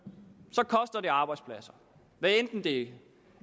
og det arbejdspladser hvad enten det